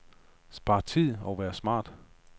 Spar tid og vær smart.